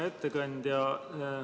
Hea ettekandja!